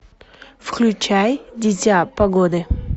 включай дитя погоды